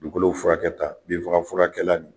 Dugukolow furakɛ tan, bin faga furakɛla